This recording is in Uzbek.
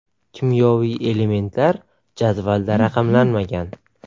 Kimyoviy elementlar jadvalda raqamlanmagan.